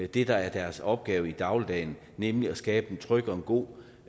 det der er deres opgave i dagligdagen nemlig at skabe en tryg og en god